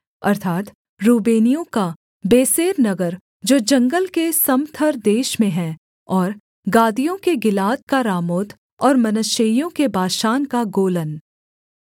अर्थात् रूबेनियों का बेसेर नगर जो जंगल के समथर देश में है और गादियों के गिलाद का रामोत और मनश्शेइयों के बाशान का गोलन